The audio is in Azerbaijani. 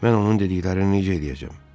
Mən onun dediklərini necə eləyəcəm?